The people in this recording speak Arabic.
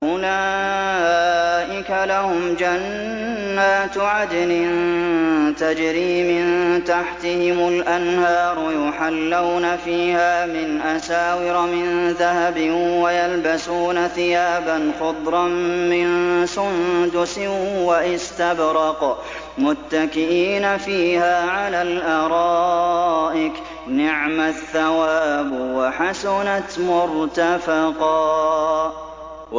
أُولَٰئِكَ لَهُمْ جَنَّاتُ عَدْنٍ تَجْرِي مِن تَحْتِهِمُ الْأَنْهَارُ يُحَلَّوْنَ فِيهَا مِنْ أَسَاوِرَ مِن ذَهَبٍ وَيَلْبَسُونَ ثِيَابًا خُضْرًا مِّن سُندُسٍ وَإِسْتَبْرَقٍ مُّتَّكِئِينَ فِيهَا عَلَى الْأَرَائِكِ ۚ نِعْمَ الثَّوَابُ وَحَسُنَتْ مُرْتَفَقًا